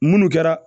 Munnu kɛra